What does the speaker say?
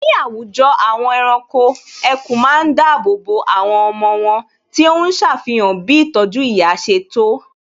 Ní àwùjọ àwọn ẹranko, ẹkùn ma ń dáàbò bo àwọn ọmọ wón tí óhún ṣàfihàn bí ìtọ́jú ìyá ṣe tó